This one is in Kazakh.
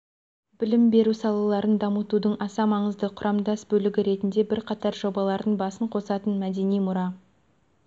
білім беру салаларын дамытудың аса маңызды құрамдас бөлігі ретінде бірқатар жобалардың басын қосатын мәдени мұра